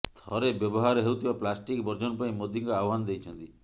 ଥରେ ବ୍ୟବହାର ହେଉଥିବା ପ୍ଲାଷ୍ଟିକ୍ ବର୍ଜନ ପାଇଁ ମୋଦିଙ୍କ ଆହ୍ବାନ ଦେଇଛନ୍ତି